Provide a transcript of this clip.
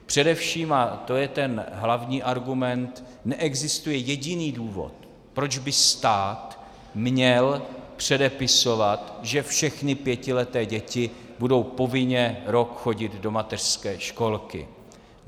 Především, a to je ten hlavní argument, neexistuje jediný důvod, proč by stát měl předepisovat, že všechny pětileté děti budou povinně rok chodit do mateřské školky.